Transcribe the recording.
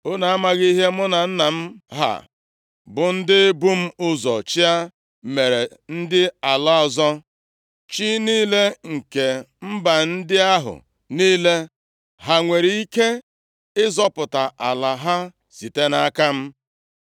“Unu amaghị ihe mụ na nna m ha bụ ndị bu m ụzọ chịa mere ndị ala ọzọ? Chi niile nke mba ndị ahụ niile ha nwere ike zọpụta ala ha site nʼaka m?